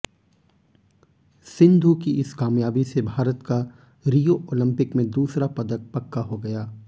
सिंधु की इस कामयाबी से भारत का रियो ओलंपिक में दूसरा पदक पक्का हो गया